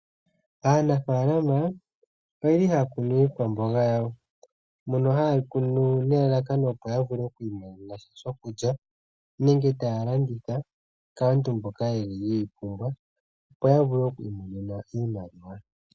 Aanafaalma oyeli haya kunu iikwamboga yawo moka hayeyi kunu nelalakano lyokumona mosha shokulya nenge taya landitha kaantu mboka yeli yeyi pumbwa opo ya vule okwiimonena iimaliwa.